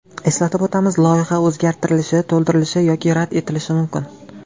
Eslatib o‘tamiz, loyiha o‘zgartirilishi, to‘ldirilishi yoki rad etilishi mumkin.